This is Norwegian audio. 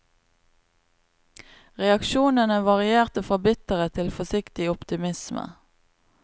Reaksjonene varierte fra bitterhet til forsiktig optimisme.